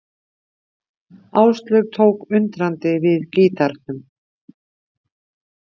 Áslaug tók undrandi við gítarnum.